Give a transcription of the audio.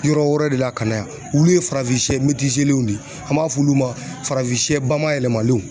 Yɔrɔ wɛrɛ de la ka na yan olu ye farafinsɛ lenw de ye an b'a f'olu ma farafinsɛ bamayɛlɛmalenw.